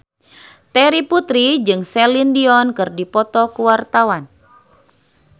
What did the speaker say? Terry Putri jeung Celine Dion keur dipoto ku wartawan